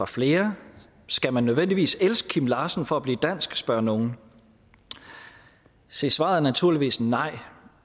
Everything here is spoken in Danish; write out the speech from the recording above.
flere skal man nødvendigvis elske kim larsen for at blive dansk spørger nogle se svaret er naturligvis nej